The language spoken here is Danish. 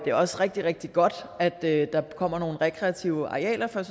er også rigtig rigtig godt at der kommer nogle rekreative arealer for